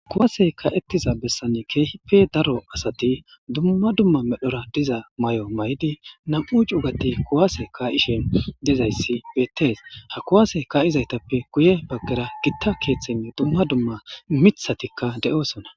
Kuwase ka'etiza besani kehipe daro asati duma duma medhora diza mayo mayidi nam'u c'ugati kuwase ka'ishe dizaysi betes ha kuwase ka'zaytape guye bagara gita kethayne duma duma mithatika de'osona.